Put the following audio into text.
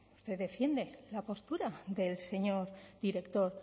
usted defiende la postura del señor director